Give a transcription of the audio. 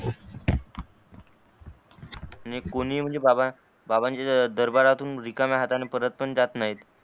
आणि कोणी म्हणजे बाबा बाबांच्या दरबऱ्यातून रिकाम्या हातानी परत पण जात नाही